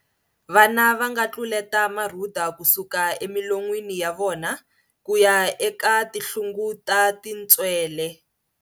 Vana va nga tluleta marhuda ku suka emilon'wini ya vona ku ya eka tinhlungut a tintswele.